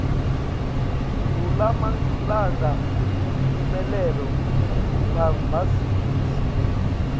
kulamalanga imphumelelo ikumabhazimisi